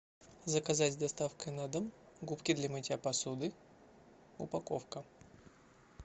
заказать с доставкой на дом губки для мытья посуды упаковка